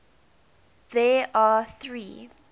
there are three